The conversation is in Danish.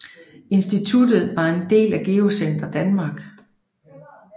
Instituttet var en del af Geocenter Danmark